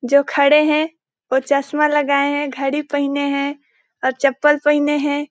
जो खड़े है वो चश्मा लगाये है घड़ी पहिने है और चप्पल पहिने हैं ।